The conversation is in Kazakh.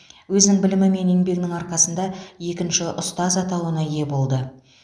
өзінің білімі мен еңбегінің арқасында екінші ұстаз атауына ие болды